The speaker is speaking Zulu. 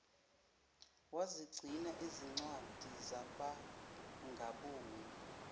wezigcina zincwadi zabangaboni